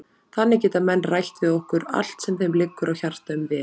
Þannig geta menn rætt við okkur allt sem þeim liggur á hjarta um vefinn.